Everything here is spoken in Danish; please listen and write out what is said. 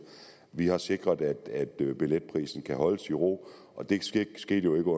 vi har sikret at billetprisen kan holdes i ro og det skete jo